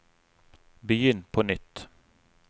begynn på nytt